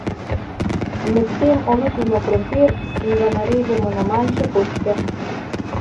Medtem olupimo krompir in ga narežemo na manjše kocke.